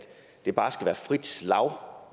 der bare skal være frit slag